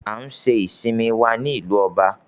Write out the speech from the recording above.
We had our vacation in London.